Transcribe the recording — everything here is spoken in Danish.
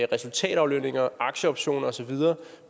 resultataflønninger aktieoptioner og så videre